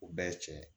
U bɛɛ ye tiɲɛ ye